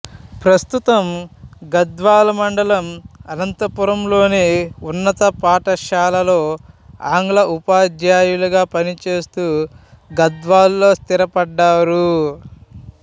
ప్రస్తుతం గద్వాల మండలం అనంతాపురంలోని ఉన్నత పాఠశాలలో ఆంగ్ల ఉపాధ్యాయులుగా పనిచేస్తూ గద్వాలలో స్థిరపడ్డారు